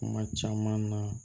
Kuma caman na